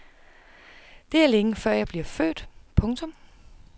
Det er længe før jeg bliver født. punktum